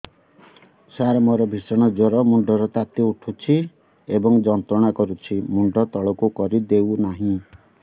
ସାର ମୋର ଭୀଷଣ ଜ୍ଵର ମୁଣ୍ଡ ର ତାତି ଉଠୁଛି ଏବଂ ଯନ୍ତ୍ରଣା କରୁଛି ମୁଣ୍ଡ ତଳକୁ କରି ହେଉନାହିଁ